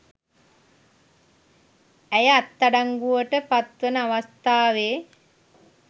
ඇය අත්අඩංගුවට පත්වන අවස්ථාවේ